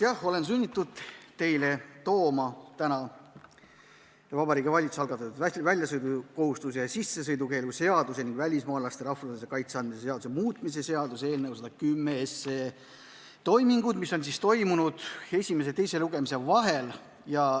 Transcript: Jah, olen sunnitud teie ette tooma Vabariigi Valitsuse algatatud väljasõidukohustuse ja sissesõidukeelu seaduse ning välismaalasele rahvusvahelise kaitse andmise seaduse muutmise seaduse eelnõuga seotud toimingud esimese ja teise lugemise vahel.